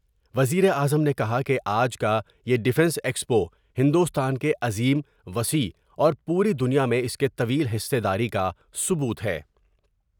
وزیراعظم نے کہا کہ آج کا یہ ڈفینس ایکسپو ہندوستان کے عظیم ، وسیع اور پوری دنیا میں اس کے طویل حصہ داری کا ثبوت ہے ۔